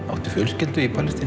áttu fjölskyldu í Palestínu